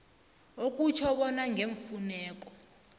okutjho bona ngeemfuneko